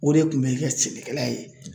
O de kun bɛ kɛ sɛnɛkɛla ye0.